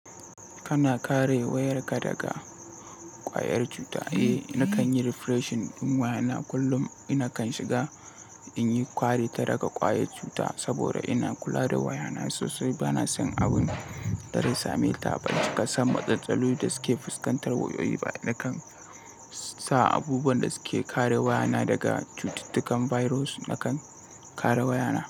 Kana kare wayarka daga ƙwayar cuta? Eh, nakan yi refreshing ɗin waya na kullum. Nakan shiga in yi ƙwari ta daga ƙwayar cuta saboda ina kula da waya na sosai. Bana son abin da zai same ta. Ban cika san matsaloli da suke fuskantar wayoyi ba, nakan sa abubuwan da suke kare waya na daga cututtukan virus nakan kare waya na.